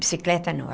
Bicicleta, não.